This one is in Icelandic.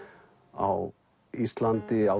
á Íslandi á